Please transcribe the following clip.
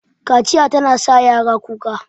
Kaciya tana sa yara kuka